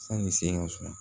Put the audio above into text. Sanni se ka suma